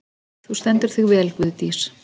Þú stendur þig vel, Guðdís!